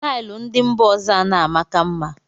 Taịl ndị mba ọzọ ana amaka mma